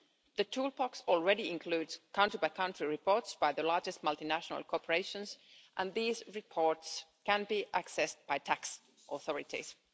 The toolbox already includes country by country reports by the largest multinational corporations, and these reports can be accessed by tax authorities.